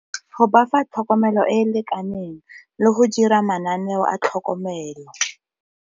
Go ba fa tlhokomelo e e lekaneng, le go dira mananeo a tlhokomelo.